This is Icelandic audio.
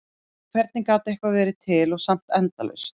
En hvernig gat eitthvað verið til og samt endalaust?